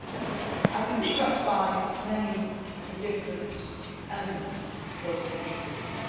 I have been struck by many of the different elements of those contributions.